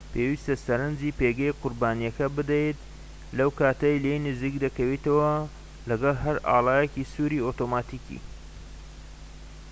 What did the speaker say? پێویستە سەرنجی پێگەی قوربانیەکە بدەیت لەو کاتەی لێی نزیک دەکەویتەوە و لەگەڵ هەر ئاڵایەکی سووری ئۆتۆماتیکی